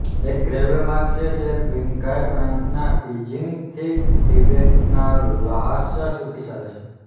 એક રેલ્વે માર્ગ છે જે ક્વીંઘાઈ પ્રાંતના ક્ઝીનીંગ થી તિબેટ ના લ્હાસા સુધી ચાલે છે